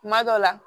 Kuma dɔ la